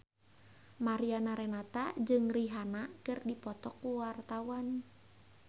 Mariana Renata jeung Rihanna keur dipoto ku wartawan